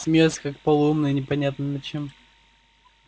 смеётся как полоумный непонятно над чем